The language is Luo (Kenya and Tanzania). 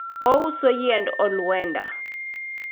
ouso yiend olwenda